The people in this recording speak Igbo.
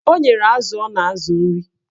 O nyere azụ ọ na-azụ nri